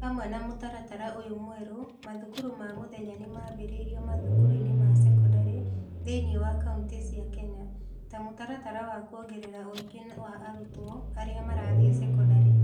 Hamwe na mũtaratara ũyũ mwerũ, mathukuru ma mũthenya nĩ mambĩrĩirio mathukuru-inĩ ma sekondarĩ thĩinĩ wa kaunti cia Kenya, ta mũtaratara wa kuongerera ũingĩ wa arutwo arĩa marathiĩ sekondarĩ.